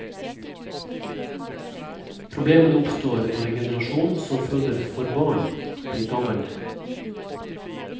Problemene oppstår når en generasjon som føder få barn blir gammel.